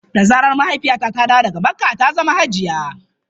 Da zarar mahaifiyata ta dawo daga makka, za ta zama hajiya.